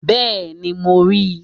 Bẹ́ẹ̀ni mo ríi